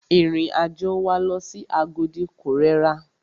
Ìrìn àjò wa lọ sí Agodi ko rẹra.